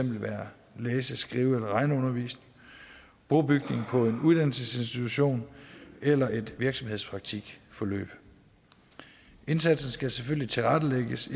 være læse skrive eller regneundervisning brobygning på en uddannelsesinstitution eller et virksomhedspraktikforløb indsatsen skal selvfølgelig tilrettelægges